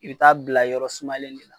I bi taa bila yɔrɔ sumalen de la.